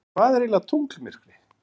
En hvað er eiginlega tunglmyrkvi?